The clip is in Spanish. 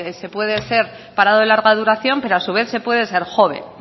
se puede ser parado de larga duración pero a su vez se puede ser joven